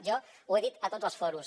jo ho he dit a tots els fòrums